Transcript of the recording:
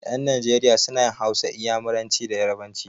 Ƴan Najeriya suna yin Hausa, Inyamuranci da yarabanci.